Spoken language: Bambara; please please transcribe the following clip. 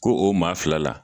Ko o maa fila la